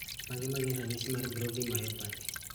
Mage magin ranyisi mag Brody myopathy